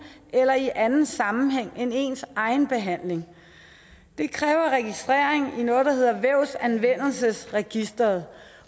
eller i anden sammenhæng end ens egen behandling det kræver registrering i noget der hedder vævsanvendelsesregisteret